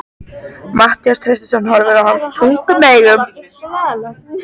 Matthías Traustason horfir á hann þungum augum.